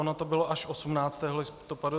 Ono to bylo až 18. listopadu.